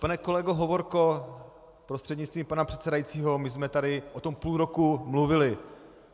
Pane kolego Hovorko prostřednictvím pana předsedajícího, my jsme tady o tom půl roku mluvili.